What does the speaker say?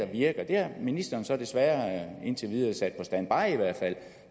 virker det har ministeren så desværre indtil videre sat på standby i hvert fald